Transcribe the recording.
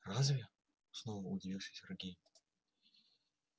разве снова удивился сергей